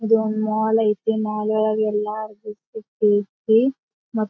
ಇದು ಮಾಲ್ ಐತಿ ಮಾಲ್ ಒಳಗೆಲ್ಲ .]